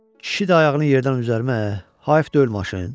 Kişi də ayağını yerdən üzərim ə, hayıf deyil maşın?